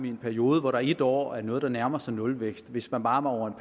en periode hvor der et år er noget der nærmer sig nulvækst hvis man bare over